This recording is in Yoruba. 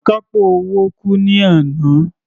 Akápò owó kú ní àná.